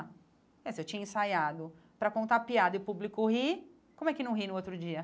Eh Se eu tinha ensaiado para contar piada e o público rir, como é que não ri no outro dia?